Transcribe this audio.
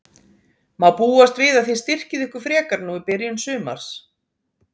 Má búast við að þið styrkið ykkur frekar nú í byrjun sumars?